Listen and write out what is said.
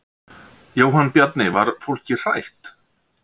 Jóhann Bjarni: Var fólkið hrætt?